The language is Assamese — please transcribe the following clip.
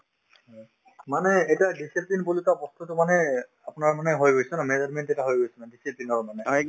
মানে এতিয়া discipline বুলি কোৱা বস্তুতো মানে আপোনাৰ মানে হৈ গৈছে ন management এটা হৈ গৈছে মানে discipline ৰ মানে